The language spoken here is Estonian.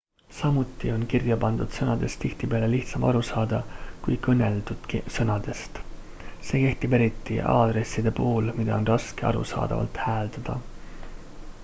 samuti on kirjapandud sõnadest tihtipeale lihtsam aru saada kui kõneldud sõnadest see kehtib eriti aadresside puhul mida on raske arusaadavalt hääldada